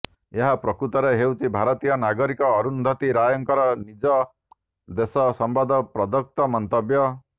ଏହା ପ୍ରକୃତରେ ହେଉଛି ଭାରତୀୟ ନାଗରିକ ଅରୁନ୍ଧତୀ ରାୟଙ୍କର ନିଜ ଦେଶ ସମ୍ବନ୍ଧରେ ପ୍ରଦତ୍ତ ମନ୍ତବ୍ୟ